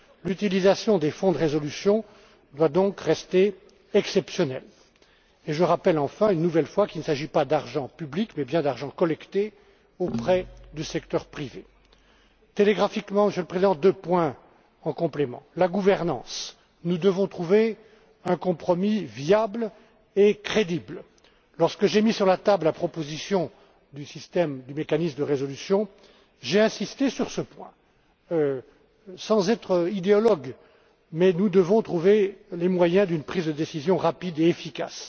out L'utilisation des fonds de résolution doit donc rester exceptionnelle. Je rappelle enfin, une nouvelle fois, qu'il ne s'agit pas d'argent public mais bien d'argent collecté auprès du secteur privé. J'ajouterai encore quelques points, Monsieur le Président. S'agissant de la gouvernance, nous devons trouver un compromis viable et crédible. Lorsque j'ai mis sur la table la proposition du mécanisme de résolution, j'ai insisté sur ce point, sans être idéologue, mais nous devons trouver les moyens d'une prise de décision rapide et efficace.